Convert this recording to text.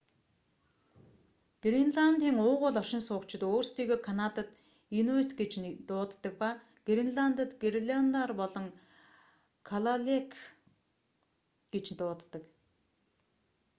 гренландын уугуул оршин суугчид өөрсдийгөө канадад инуйт гэж дууддаг ба гренландад гренландаар бол калааллек олон тоон дээр калааллит гэж дууддаг